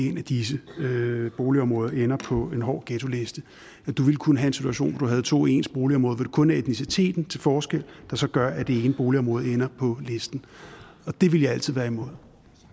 et af disse boligområder ender på en hård ghetto liste der vil kunne være en situation hvor der er to ens boligområder med kun etniciteten til forskel og det så gør at det ene boligområde ender på listen det vil jeg altid være imod